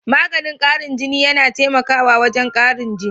Maganin karin jini, yana taimaka wajen karin jini.